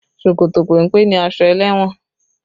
Ṣòkòtò péńpé ni aṣọ ẹlẹ́wọ̀n